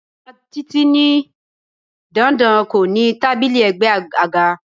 Bàbá Títí ní dandan kó ní tábìlì ègbé àga.